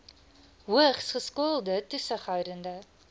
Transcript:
hoogs geskoolde toesighoudende